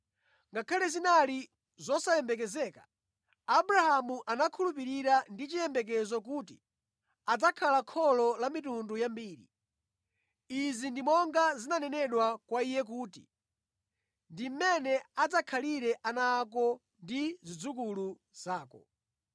Ngakhale zinali zosayembekezeka, Abrahamu anakhulupirira ndi chiyembekezo kuti adzakhala kholo la mitundu yambiri. Izi ndi monga zinanenedwa kwa iye kuti, “Ndi mmene adzakhalire ana ako ndi zidzukulu zako.”